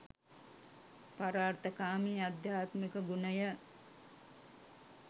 පරාර්ථකාමී අධ්‍යාත්මික ගුණය